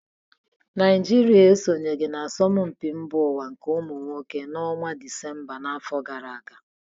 Naijiria esonyeghị n'asọmpi iko mba ụwa nke ụmụ nwoke n' ọnwa Dịsemba afọ gara aga